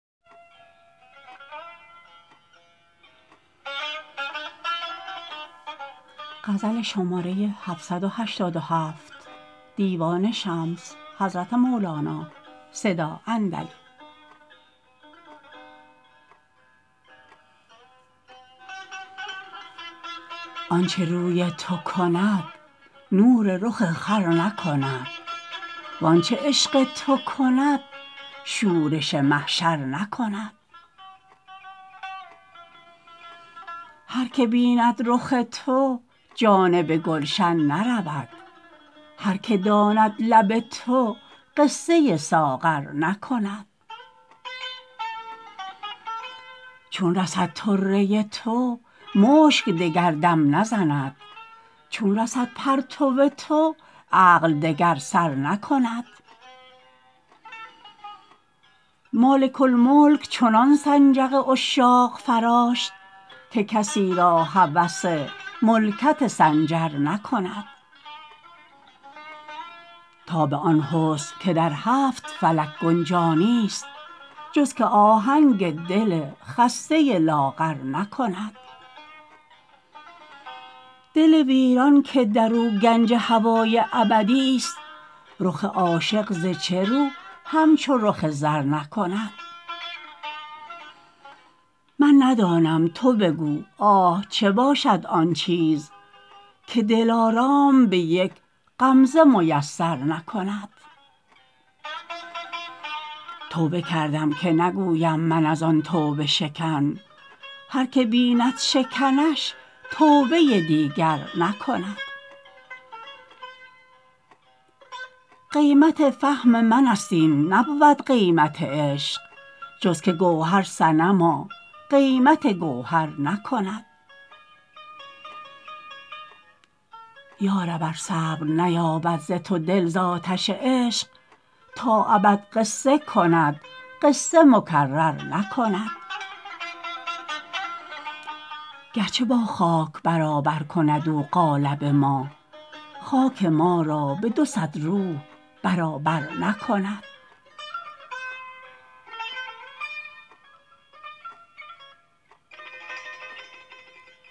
آنچ روی تو کند نور رخ خور نکند و آنچ عشق تو کند شورش محشر نکند هر کی بیند رخ تو جانب گلشن نرود هر کی داند لب تو قصه ساغر نکند چون رسد طره تو مشک دگر دم نزند چون رسد پرتو تو عقل دگر سر نکند مالک الملک چنان سنجق عشاق فراشت که کسی را هوس ملکت سنجر نکند تاب آن حسن که در هفت فلک گنجا نیست جز که آهنگ دل خسته لاغر نکند دل ویران که در و گنج هوای ابدیست رخ عاشق ز چه رو همچو رخ زر نکند من ندانم تو بگو آه چه باشد آن چیز که دلارام به یک غمزه میسر نکند توبه کردم که نگویم من از آن توبه شکن هر کی بیند شکنش توبه دیگر نکند یا رب ار صبر نیابد ز تو دل ز آتش عشق تا ابد قصه کند قصه مکرر نکند گرچه با خاک برابر کند او قالب ما خاک ما را به دو صد روح برابر نکند